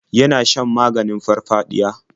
Yana shan maganin farfaɗiya.